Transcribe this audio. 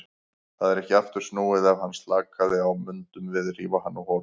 Það er ekki aftur snúið, ef hann slakaði á mundum við rífa hann á hol.